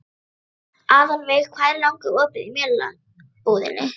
Aðalveig, hvað er lengi opið í Melabúðinni?